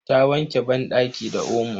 Ta wanke banɗaki da omo.